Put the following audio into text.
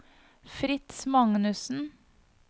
Fritz Magnussen